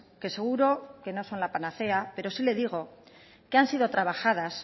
que seguro que no son la panacea pero sí le digo que han sido trabajadas